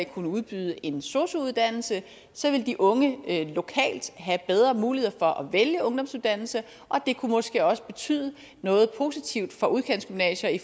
kunne udbyde en sosu uddannelse så vil de unge lokalt have bedre muligheder for at vælge ungdomsuddannelse og det kunne måske også betyde noget positivt for udkantsgymnasier i